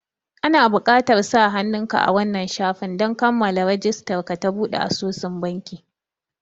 Ana buƙatar sa hannun ka a wannan shafin don kammala rijistar ka ta buɗe asusun banki